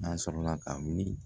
An sɔrɔla ka wuli